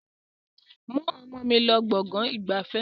Mú ọmọ mi lọ gbọ̀ngàn ìgbafẹ́!